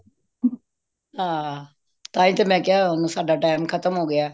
ਹਾਂ ਤਾਹਿ ਤੇ ਮੈਂ ਕਿਆ ਹੁਣ ਸਾਡਾ time ਖਤਮ ਹੋ ਗਯਾ